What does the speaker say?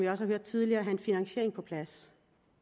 har hørt tidligere have en finansiering på plads